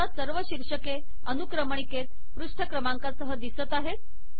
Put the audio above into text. आता सर्व शीर्षके अनुक्रमणिकेत पृष्ठ क्रमांकासह दिसत आहेत